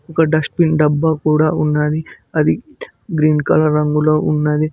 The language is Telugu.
ఒక డిస్ట్బిన్ డబ్బా కూడా ఉన్నాది అది గ్రీన్ కలర్ రంగులో ఉన్నవి.